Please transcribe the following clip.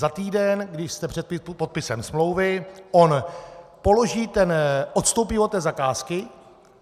Za týden, když jste před podpisem smlouvy, on odstoupí od té zakázky.